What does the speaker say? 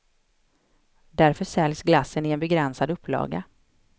Därför säljs glassen i en begränsad upplaga.